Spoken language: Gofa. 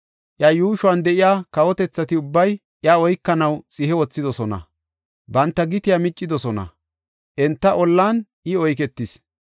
Iya yuushuwan de7iya kawotethati ubbay iya oykanaw xihe wothidosona; banta gitiya miccidosona; enta ollan I oyketis;